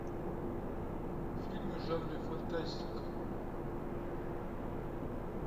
фильмы в жанре фантастика